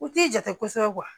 U t'i jate kosɛbɛ